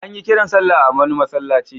An yi kiran sallah a wani masallaci.